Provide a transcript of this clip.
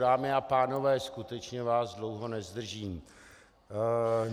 Dámy a pánové, skutečně vás dlouho nezdržím.